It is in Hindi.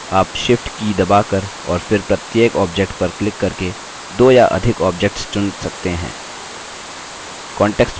वैकल्पिक रूप से आप shift की दबाकर और फिर प्रत्येक objects पर क्लिक करके दो या अधिक objects चुन सकते हैं